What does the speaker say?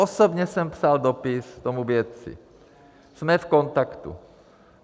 Osobně jsme psal dopis tomu vědci, jsme v kontaktu.